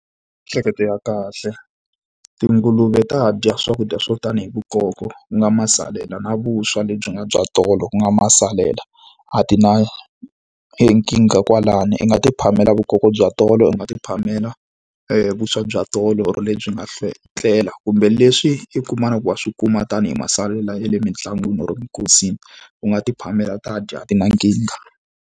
I miehleketo ya kahle. Tinguluve ta dya swakudya swo tani hi vukoko ku nga masalela na vuswa lebyi nga bya tolo ku nga masalela, a ti na nkingha kwalano. I nga ti phamela vukoko bya tolo, u nga ti phamela vuswa bya tolo or lebyi nga tlela kumbe leswi i kumaka ku wa swi kuma tanihi masalela ya le mitlangwini or eminkosini. U nga ti phamela, ta dya a ti na nkingha.